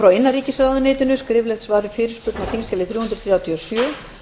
frá innanríkisráðuneytinu skriflegt svar við fyrirspurn á þingskjali þrjú hundruð þrjátíu og sjö